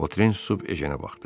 Votren susub Ejenə baxdı.